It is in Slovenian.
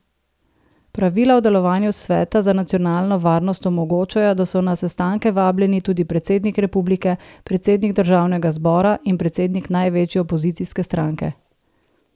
Pravila o delovanju Sveta za nacionalno varnost omogočajo, da so na sestanke vabljeni tudi predsednik republike, predsednik državnega zbora in predsednik največje opozicijske stranke.